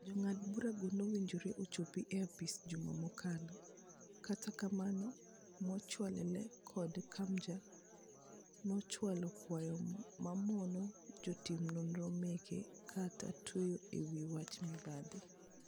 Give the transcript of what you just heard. Jongad bura go nowinjore ochopi e apis juma mokalo. Kata kamano Muchelule kod KMJA nochwalo kwayo mamono jatimnonro make kata tweye e wii wach mibadhi.